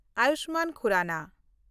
Ayushman Khurrana